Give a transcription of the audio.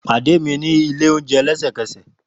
Pade mi ni ile ounjẹ lẹsẹkẹsẹ!